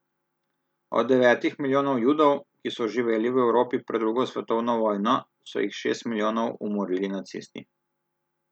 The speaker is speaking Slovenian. Od devetih milijonov Judov, ki so živeli v Evropi pred drugo svetovno vojno, so jih šest milijonov umorili nacisti.